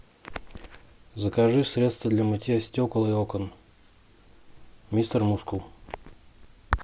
закажи средство для мытья стекол и окон мистер мускул